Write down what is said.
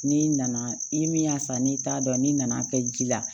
N'i nana i ni min y'a san n'i t'a dɔn n'i nana kɛ ji la